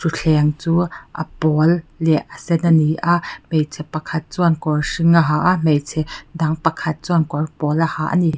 thutthleng chu a pawl leh a sen ani a hmeichhe pakhat chuan kawr hring a ha a hmeichhe dang pakhat chuan kawr pawl a ha a ni.